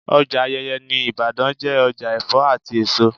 Ọjà Ayeye ní Ibadan jẹ́ ọjà Ẹ̀fọ́ àti èso.